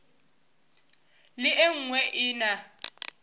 le e nngwe e na